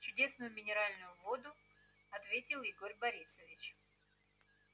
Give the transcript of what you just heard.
чудесную минеральную воду ответил игорь борисович